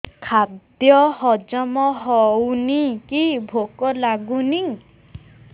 ଖାଦ୍ୟ ହଜମ ହଉନି କି ଭୋକ ଲାଗୁନି